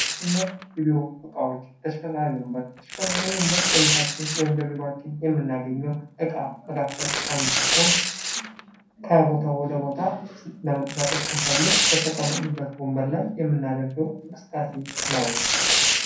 የቤት ዕቃ የቢሮ እቃዎች ተሽከርካሪ ወንበር ተሽከርካሪ ወንበር በቤታችን ወይም በቢሯችን የምናገኘው ዕቃ መካከል አንዱ ሲሆን ከቦታው ወደቦታ ለመንቀሳቀስ ስንፈልግ በተቀመጥንበት ወንበር ላይ የምናደርገው እንቅስቃሴ ነው::